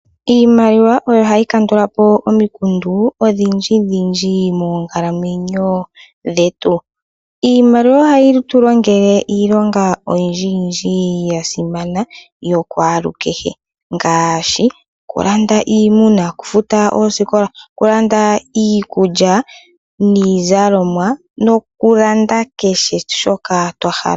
Iimaliwa oyo hayi kandula po omikundu odhindji dhindji monkalamwenyo dhetu. Iimaliwa ohayi tu longele iilonga oyindji yindji yasimana yokwaalukehe ngaashi okulanda iimuna, oku futa oosikola, okulanda iikulya niizalomwa noku landa kehe shoka twa hala.